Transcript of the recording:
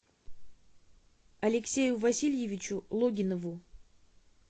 алексею васильевичу логинову